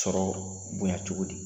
Sɔrɔ bonya cogo di ?